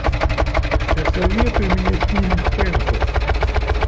посоветуй мне фильм хэнкок